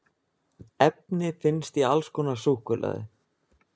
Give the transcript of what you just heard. efni finnst í alls konar súkkulaði